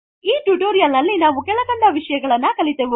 ಈ ಟುಟೋರೀಯಲ್ ನಲ್ಲಿ ನಾವು ಕೆಳಕಂಡ ವಿಷಯಗಳನ್ನು ಕಲಿತೆವು